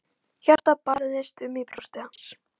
Hjartað barðist um í brjósti hans.